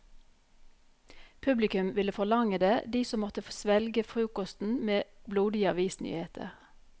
Publikum ville forlange det, de som måtte svelge frokosten med blodige avisnyheter.